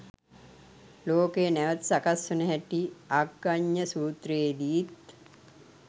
ලෝකය නැවත සකස් වන හැටි අග්ගඤ්ඤ සූත්‍රයේදීත්